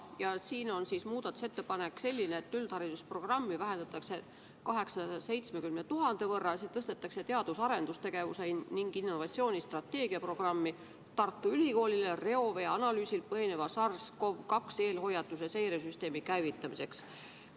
Ja siin on selline muudatusettepanek, et üldharidusprogrammi vähendatakse 870 000 euro võrra, see tõstetakse teadus- ja arendustegevuse ning innovatsiooni strateegia programmi Tartu Ülikoolile reovee analüüsil põhineva SARS-Cov-2 eelhoiatuse seiresüsteemi käivitamiseks.